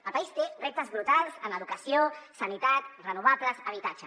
el país té reptes brutals en educació sanitat renovables habitatge